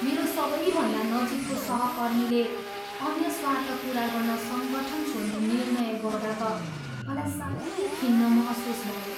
मेरो सबैभन्दा नजिकको सहकर्मीले अन्य स्वार्थ पुरा गर्न सङ्गठन छोड्ने निर्णय गर्दा त मलाई साह्रै खिन्न महसुस भयो।